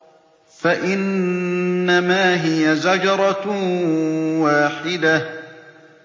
فَإِنَّمَا هِيَ زَجْرَةٌ وَاحِدَةٌ